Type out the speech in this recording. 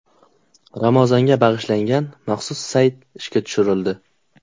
Ramazonga bag‘ishlangan maxsus sayt ishga tushirildi.